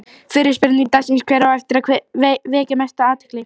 Fyrri spurning dagsins: Hver á eftir að vekja mesta athygli?